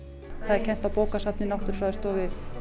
það er kennt á bókasafni náttúrufræðistofu